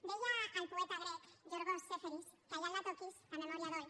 deia el poeta grec iorgos seferis que allà on la toquis la memòria dol